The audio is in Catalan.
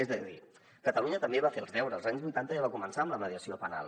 és a dir catalunya també va fer els deures als anys vuitanta ja va començar amb la mediació penal